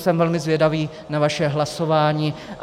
Jsem velmi zvědavý na vaše hlasování.